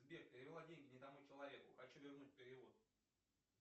сбер перевел деньги не тому человеку хочу вернуть перевод